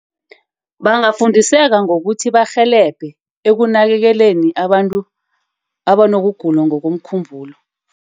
Bangafundiseka ngokuthi barhelebhe ekunakeleleni abantu abanokugula ngokomkhumbulo.